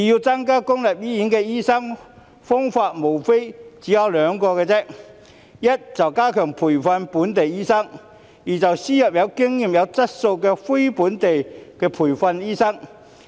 增加公立醫院的醫生人數，方法無非兩個：第一，加強培訓本地醫生；第二，輸入有經驗及有質素的非本地培訓醫生。